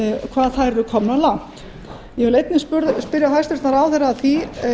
hvað þær eru komnar langt ég vil einnig spyrja hæstvirtan ráðherra að því